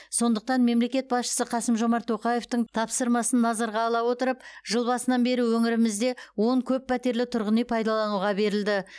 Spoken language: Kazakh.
сондықтан мемлекет басшысы қасым жомарт тоқаевтың тапсырмасын назарға ала отырып жыл басынан бері өңірімізде он көппәтерлі тұрғын үй пайдалануға берілді